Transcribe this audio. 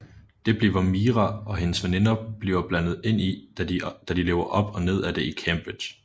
Det bliver Mira og hendes veninder bliver blandet ind i da de lever op og ned af det i Cambridge